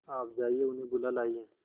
आप जाइए उन्हें बुला लाइए